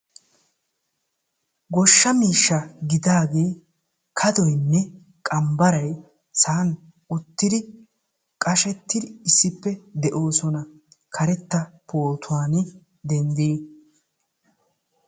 Goshsha miishsha gidaagee kadoynne qambbaray saanee qashettidi uttidi beetoosona. ha bootaani dendiidi